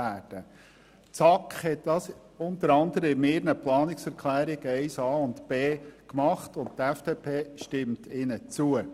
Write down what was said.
Die SAK hat dies unter anderem mit ihren Planungserklärungen 1a und 1b getan, und die FDP stimmt diesen zu.